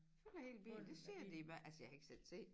Fylder hele bilen det siger de i hver altså jeg har ikke selv set det